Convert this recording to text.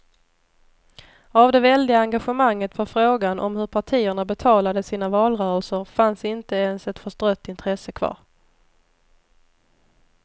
Av det väldiga engagemanget för frågan om hur partierna betalade sina valrörelser fanns inte ens ett förstrött intresse kvar.